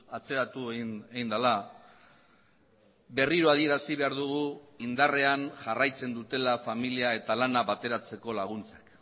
atzeratu egin dela berriro adierazi behar dugu indarrean jarraitzen dutela familia eta lana bateratzeko laguntzak